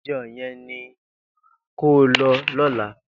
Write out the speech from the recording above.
Ijò yèn ni kó lò lòlá